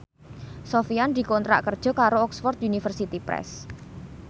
Sofyan dikontrak kerja karo Oxford University Press